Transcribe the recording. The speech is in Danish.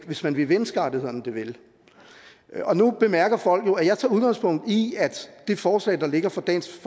hvis man vil menneskerettighederne det vel nu bemærker folk jo at jeg tager udgangspunkt i at det forslag der ligger fra dansk